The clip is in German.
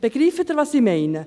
Begreifen Sie, was ich meine?